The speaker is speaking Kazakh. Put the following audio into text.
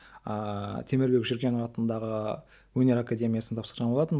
ааа темірбек жүргенев атындағы өнер академиясына тапсырған болатынмын